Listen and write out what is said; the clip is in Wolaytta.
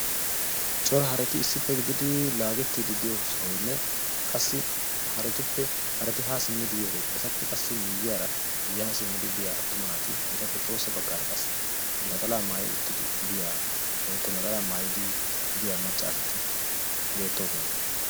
cora hareti issippe biyageeti beettoosona. qassi etappe ya bagaara maca asati naxalaa maayidi biyaageeti beetoosona.